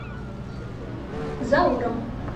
зауром